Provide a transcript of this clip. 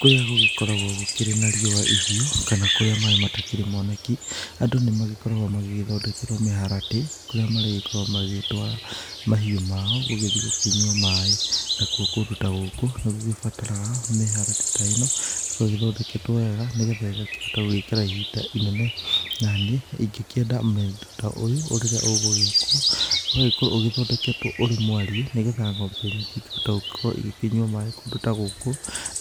Kũrĩa gũgĩkoragwo gũkĩrĩ na riũa ĩhiũ kana kũrĩa maĩ matakĩrĩ moneki, andũ nĩ magĩkoragwo, magĩthondekĩrwo mĩharatĩ, kũrĩa marĩgĩkoragwo magĩtwara mahiũ mao gũgĩthiĩ gũkĩnywa maĩ. Nakuo kũndũ ta gũkũ, nĩ gũgĩbataraga mĩharatĩ ta eno ĩgĩgĩthondeketwo wega, nĩgĩtha ĩgakĩhota gũikara ihinda inene, na niĩ ingĩkienda miendwa ta ũyũ, rĩrĩa ũgũgĩĩkwo ũgagĩkorwo ũthondeketwo urĩ mwarie, nĩgĩtha ngombe nyingĩ ikahota gũgĩkorwo ikenyua maĩ kũndũ ta gũkũ.